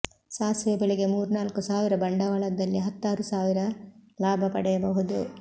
ಸಾಸಿವೆ ಬೆಳೆಗೆ ಮೂರ್ನಾಲ್ಕು ಸಾವಿರ ಬಂಡವಾಳದಲ್ಲೇ ಹತ್ತಾರು ಸಾವಿರ ಲಾಭ ಪಡೆಯಬಹುದು